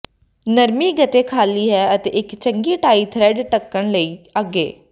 ਨਰਮੀ ਗੱਤੇ ਖਾਲੀ ਹੈ ਅਤੇ ਇੱਕ ਚੰਗੀ ਟਾਈ ਥਰਿੱਡ ਧੱਕਣ ਲਈ ਅੱਗੇ